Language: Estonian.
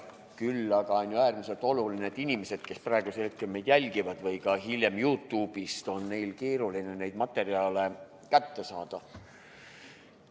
Küll aga on äärmiselt oluline see, et inimestel, kes praegusel hetkel või ka hiljem YouTube'ist meid jälgivad, on keeruline neid materjale kätte saada.